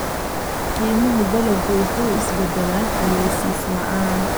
Qiimaha dalaggu wuu is beddelaa ogeysiis la'aan.